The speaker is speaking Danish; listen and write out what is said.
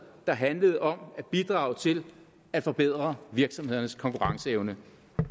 der handlede om at bidrage til at forbedre virksomhedernes konkurrenceevne